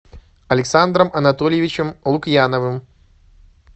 александром анатольевичем лукьяновым